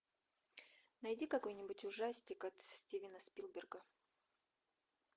найди какой нибудь ужастик от стивена спилберга